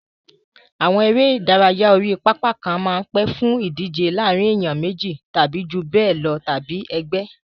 Àwọn eré ìdárayá orí pápá kan máa ń pè fún ìdíje láàárín ènìyàn méjì tàbí jù bẹ́ẹ̀ lọ tàbí ẹgbẹ́.